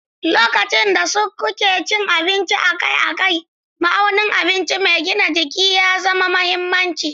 Lokacin da kuke cin abinci akai-akai, ma'aunin abinci mai gina jiki ya zama mahimmanci.